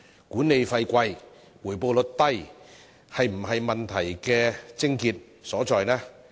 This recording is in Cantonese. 管理費高和回報率低是否問題的癥結所在呢？